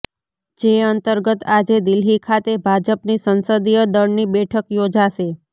જે અંતર્ગત આજે દિલ્હી ખાતે ભાજપની સંસદીય દળની બેઠક યોજાશે